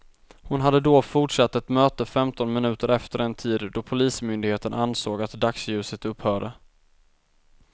Hon hade då fortsatt ett möte femton minuter efter den tid, då polismyndigheten ansåg att dagsljuset upphörde.